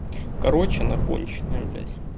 короче она конченая блядь